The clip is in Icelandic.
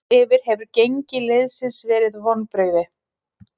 Heilt yfir hefur gengi liðsins verið vonbrigði.